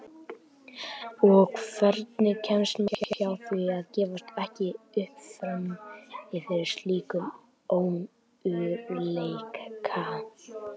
Og hvernig kemst maður hjá því að gefast ekki upp frammi fyrir slíkum ömurleika?